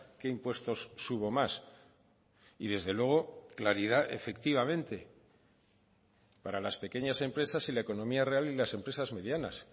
qué impuestos subo más y desde luego claridad efectivamente para las pequeñas empresas y la economía real y las empresas medianas